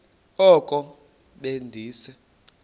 oko be ndise